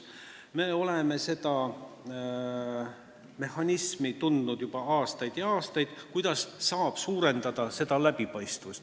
Me oleme seda mehhanismi, kuidas saab suurendada läbipaistvust, teadnud juba aastaid.